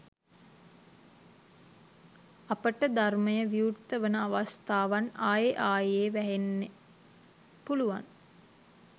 අපට ධර්මය විවෘත වෙන අවස්ථාවන් ආයෙ ආයෙ වැහෙන්න පුළුවන්.